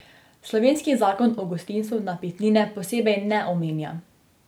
Slovenski zakon o gostinstvu napitnine posebej ne omenja.